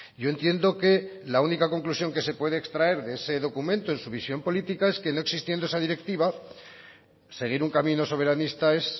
yo entiendo que la única conclusión que se puede extraer de ese documento en su visión política es que no existiendo esa directiva seguir un camino soberanista es